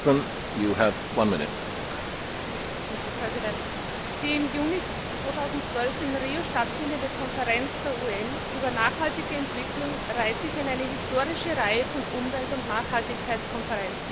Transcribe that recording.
Herr Präsident! Die im Juni 2012 in Rio stattfindende Konferenz der UN über nachhaltige Entwicklung reiht sich in eine historische Reihe von Umwelt und Nachhaltigkeitskonferenzen ein.